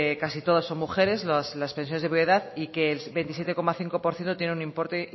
casi todas son mujeres las pensiones de viudedad y que el veintisiete coma cinco por ciento tienen un importe